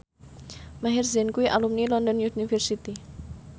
Maher Zein kuwi alumni London University